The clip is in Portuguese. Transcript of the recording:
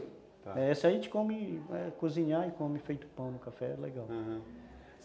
Essa aí a gente come, vai cozinhar e come feito pão no café, é legal, aham.